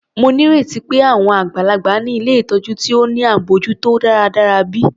Mo nírètí pé àwọn àgbàlagbà ni ilé ìtọjú ti wà ní abójútó dáradára bi?